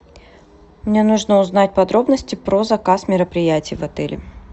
мне нужно узнать подробности про заказ мероприятий в отеле